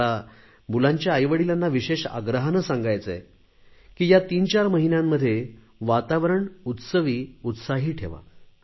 मला मुलांच्या आईवडिलांना विशेष आग्रहाने सांगायचे आहे की या तीनचार महिन्यांमध्ये वातावरण उत्सवी उत्साही ठेवा